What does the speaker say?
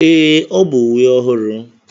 Ee, ọ bụ uwe ọhụrụ.